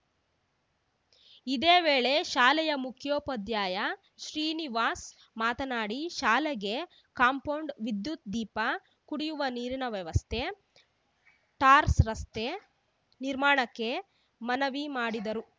ಇದೇ ವೇಳೆ ಶಾಲೆಯ ಮುಖ್ಯೋಪಾಧ್ಯಾಯ ಶ್ರೀನಿವಾಸ್‌ ಮಾತನಾಡಿ ಶಾಲೆಗೆ ಕಾಂಪೌಂಡ್‌ ವಿದ್ಯುತ್‌ ದೀಪ ಕುಡಿಯುವ ನೀರಿನ ವ್ಯವಸ್ಥೆ ಟಾರ್‌ ರಸ್ತೆ ನಿರ್ಮಾಣಕ್ಕೆ ಮನವಿ ಮಾಡಿದರು